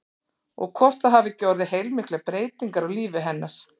Og hvort það hafi ekki orðið heilmiklar breytingar á lífi hennar?